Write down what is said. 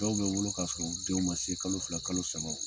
Dɔw bɛ wolo k k'a sɔrɔ u denw ma se kalo fila kalo saba